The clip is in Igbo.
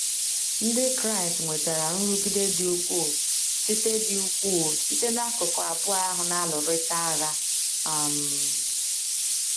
Ndị Kraịst nwetara nrụgide dị ukwuu site dị ukwuu site n’akụkụ abụọ ahụ na - alụrịta agha um.